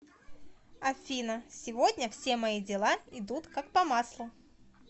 афина сегодня все мои дела идут как по маслу